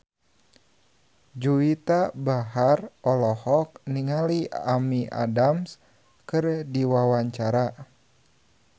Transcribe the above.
Juwita Bahar olohok ningali Amy Adams keur diwawancara